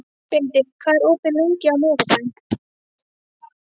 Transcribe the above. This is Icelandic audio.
Benedikt, hvað er opið lengi á miðvikudaginn?